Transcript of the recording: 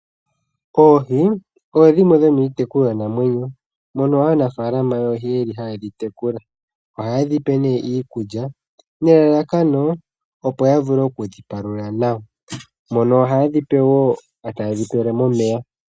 Oohi odhimwe dho miitekulwanamwenyo mono anafaalama yeli haye dhi tekula ohaye dhipe ne iikulya nelalakano opo ya vule okudhi palula nawa mono haye dhi pe wo taye dhi pele momeya.